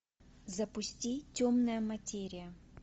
запусти темная материя